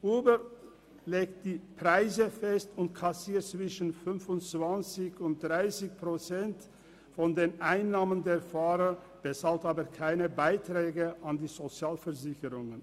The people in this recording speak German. Uber legt die Preise fest und kassiert zwischen 25 und 30 Prozent der Einnahmen der Fahrer, bezahlt aber keine Beiträge an die Sozialversicherungen.